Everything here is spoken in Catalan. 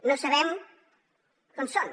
no sabem on són